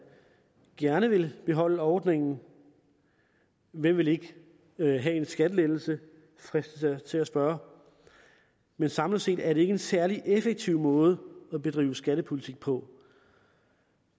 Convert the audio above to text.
gerne vil beholde ordningen hvem vil ikke have en skattelettelse fristes jeg til at spørge men samlet set er det ikke en særlig effektiv måde at bedrive skattepolitik på